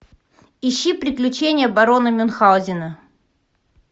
ищи приключения барона мюнхгаузена